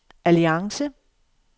alliance